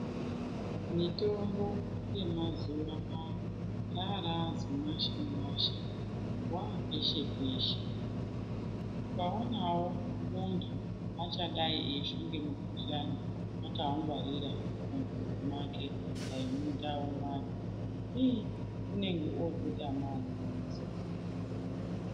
Mitombo yemazuwa anaa rarazimwashamwasha wapeshe peshe ukaonawo muntu achadai eifa ngemukuhlani akaungwarira mumhatso mwake dai mundau mwake ii unenge ototamawo soro.